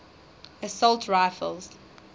assault rifles